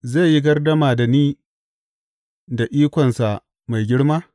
Zai yi gardama da ni da ikonsa mai girma?